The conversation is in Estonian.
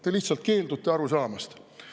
Te lihtsalt keeldute aru saamast.